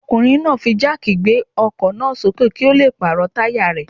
Ọkùnrin náà fi jáàkì gbé ọkọ̀ náà sókè kí ó le pàrọ̀ táyà rẹ̀.